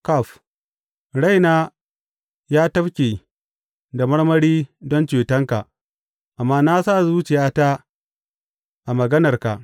Kaf Raina ya tafke da marmari don cetonka, amma na sa zuciyata a maganarka.